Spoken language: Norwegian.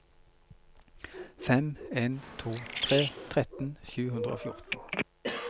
fem en to tre tretten sju hundre og fjorten